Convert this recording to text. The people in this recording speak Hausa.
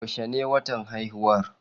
Yaushe ne watan haihuwar?